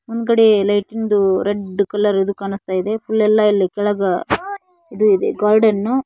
ಅಂಗಡಿಯ lighting red colour ಇದು ಕಾನಸ್ತಾ ಇದೆ ಪೂಲ್ ಎಲ್ಲಾ ಇಲ್ಲಿ ಕೆಳಗ ಇದು ಇದೆ ಗಾರ್ಡನ್ .